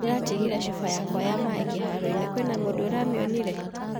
Ndĩratigire cuba yakwa ya maĩ kĩharo kwĩna mũndũ ũramĩonire?